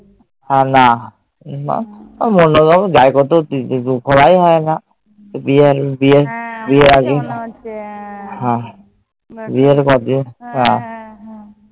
না। যাই কত? ঘোরাই হয়না।